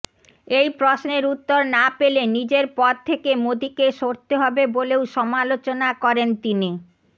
এই প্রশ্নের উত্তর না পেলে নিজের পদ থেকে মোদীকে সরতে হবে বলেও সমালোচনা করেন তিনি